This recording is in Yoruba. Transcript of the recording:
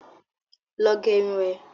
Lọ gerun ẹ!